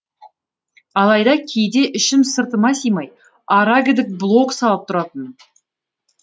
алайда кейде ішім сыртыма симай ара гідік блог салып тұратынмын